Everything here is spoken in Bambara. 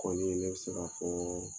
Kɔni ne bɛ se k'a fɔɔ